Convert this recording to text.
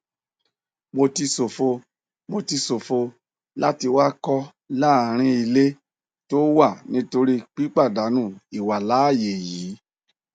mo ti ṣòfò mo ti ṣòfò láti wakọ láàrin ilé tó wà nítorí pípàdánù ìwàláàyè yìí